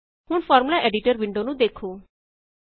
ਹੁਣ formula editor window ਨੂੰ ਵੇੱਖੋ